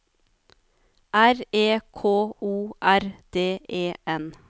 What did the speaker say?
R E K O R D E N